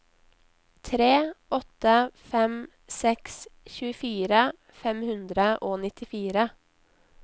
tre åtte fem seks tjuefire fem hundre og nittifire